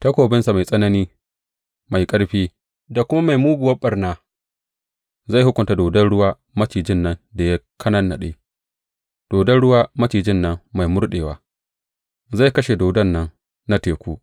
takobinsa mai tsanani, mai ƙarfi da kuma mai muguwar ɓarna, zai hukunta dodon ruwa macijin nan da ya kanannaɗe, dodon ruwa macijin nan mai murɗewa; zai kashe dodon nan na teku.